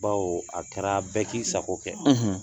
Baw a kɛra bɛɛ k'i sago kɛ